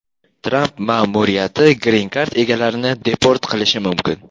Tramp ma’muriyati Green Card egalarini deport qilishi mumkin.